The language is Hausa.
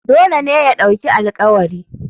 Dole ya ɗauki alƙawari.